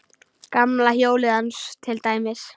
Gamla hjólið hans til dæmis.